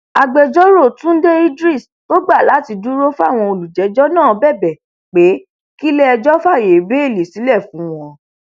agbẹjọrò túnde idris tó gbà láti dúró fáwọn olùjẹjọ náà bẹbẹ pé kílẹẹjọ fàáyé bẹẹlí sílẹ fún wọn